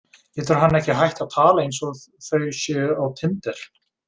Getur hann ekki hætt að tala eins og þau séu á tinder?